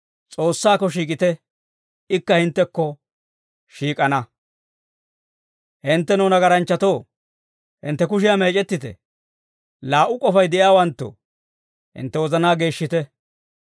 S'oossaakko shiik'ite; ikka hinttekko shiik'ana. Hinttenoo nagaranchchatoo, hintte kushiyaa meec'ettite. Laa"u k'ofay de'iyaawanttoo, hintte wozanaa geeshshite.